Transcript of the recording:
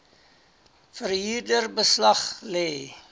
verhuurder beslag lê